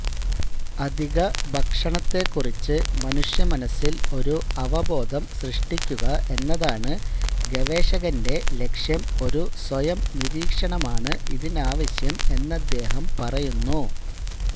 അധികഭക്ഷണത്തെ കുറിച്ച് മനുഷ്യമനസ്സിൽ ഒരു അവബോധം സൃഷ്ടിക്കുക എന്നതാണ് ഗവേഷകന്റെ ലക്ഷ്യം ഒരു സ്വയം നിരീക്ഷണമാണ് ഇതിനാവശ്യം എന്നദ്ദേഹം പറയുന്നു